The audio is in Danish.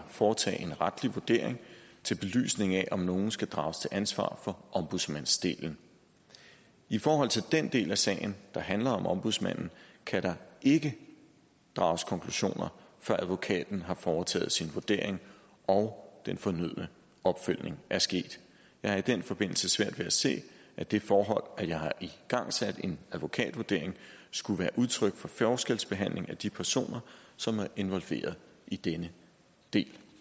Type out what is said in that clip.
foretage en retlig vurdering til belysning af om nogle skal drages til ansvar for ombudsmandsdelen i forhold til den del af sagen der handler om ombudsmanden kan der ikke drages konklusioner før advokaten har foretaget sin vurdering og den fornødne opfølgning er sket jeg har i den forbindelse svært ved at se at det forhold at jeg har igangsat en advokatvurdering skulle være udtryk for forskelsbehandling af de personer som er involveret i denne del